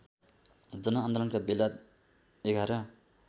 जनआन्दोलनका बेला ११